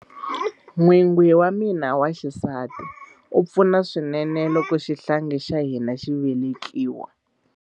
N'wingi wa mina wa xisati a pfuna swinene loko xihlangi xa hina xi velekiwa.